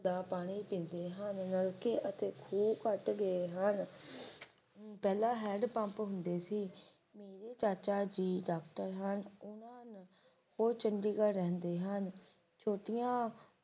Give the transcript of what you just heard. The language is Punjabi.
ਦਾ ਪਾਣੀ ਪੀਂਦੇ ਹਨ ਨਲਕੇ ਆ ਤੇ ਖੂਨ ਘੱਟ ਗਏ ਹਨ ਪਹਿਲਾਂ ਹੰਡ ਪੰਪ ਹੁੰਦੇ ਸੀ ਮੇਰੇ ਚਾਚਾ ਜੀ ਡਾਕਟਰ ਹਨ ਉਨ੍ਹਾਂ ਨੂੰ ਉਹ ਚੰਡੀਗੜ੍ਹ ਰਹਿੰਦੇ ਹਨ ਛੋਟੀਆਂ